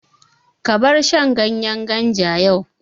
Ka bar shan ganyen ganja yau!